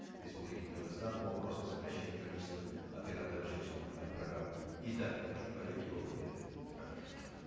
республики казахстан по вопросам сокращения количества операторов жилищных э программ и также прошу коллег его поддержать рахмет